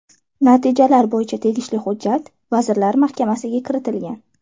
Natijalar bo‘yicha tegishli hujjat Vazirlar Mahkamasiga kiritilgan.